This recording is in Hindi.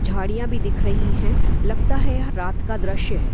झाड़ियाँ भी दिख रही है लगता है यह रात का द्रश्य है |